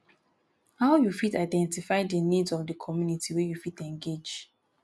how you fit identify di needs of di community wey you fit engage